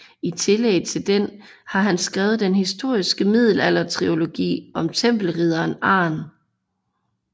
I tillæg til den har han skrevet den historiske middelaldertrilogi om tempelridderen Arn